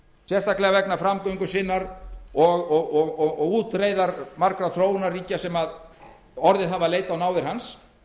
sérstaklega vegna framgöngu sinnar og útreiðar margra þróunarríkja sem orðið hafa að leita á náðir hans